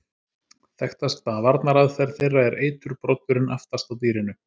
Þekktasta varnaraðferð þeirra er eiturbroddurinn aftast á dýrinu.